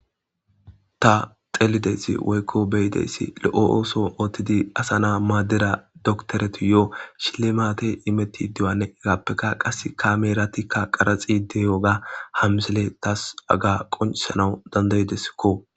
ta xelideysi woykko beyideyssi lo7o ooso oothtidi asa naa maaddera doktoreti yo7o shile maate imetti duwane egappekka qas kameratikka qaraxi deyoga hamsele taas aga qoncisanawu dandayideskko